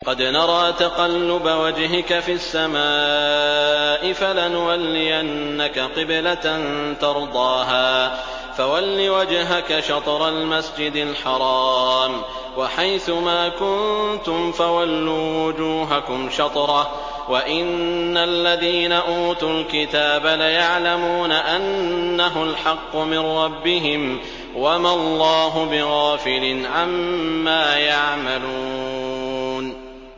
قَدْ نَرَىٰ تَقَلُّبَ وَجْهِكَ فِي السَّمَاءِ ۖ فَلَنُوَلِّيَنَّكَ قِبْلَةً تَرْضَاهَا ۚ فَوَلِّ وَجْهَكَ شَطْرَ الْمَسْجِدِ الْحَرَامِ ۚ وَحَيْثُ مَا كُنتُمْ فَوَلُّوا وُجُوهَكُمْ شَطْرَهُ ۗ وَإِنَّ الَّذِينَ أُوتُوا الْكِتَابَ لَيَعْلَمُونَ أَنَّهُ الْحَقُّ مِن رَّبِّهِمْ ۗ وَمَا اللَّهُ بِغَافِلٍ عَمَّا يَعْمَلُونَ